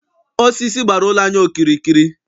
Osisi gbara ụlọ anyị okirikiri.